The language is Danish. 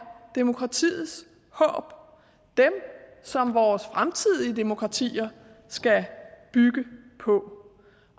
demokratiets håb dem som vores fremtidige demokratier skal bygge på